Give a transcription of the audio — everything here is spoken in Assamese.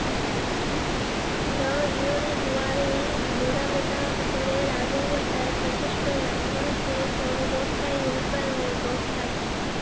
গাঁৱৰ জীয়ৰী বোৱাৰী, বুঢ়া মেথা সকলে ৰাজহুৱা ঠাইত, বিশেষকৈ নামঘৰত গোট খাই উৰুকাৰ ভোজ ভাত খায়।